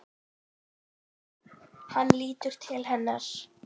Hann lítur til hennar.